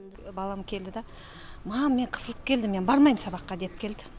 балам келді де мам мен қысылып келдім мен бармайм сабаққа деп келді